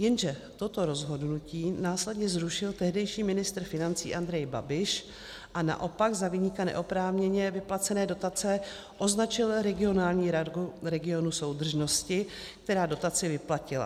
Jenže toto rozhodnutí následně zrušil tehdejší ministr financí Andrej Babiš a naopak za viníka neoprávněně vyplacené dotace označil regionální radu regionu soudržnosti, která dotaci vyplatila.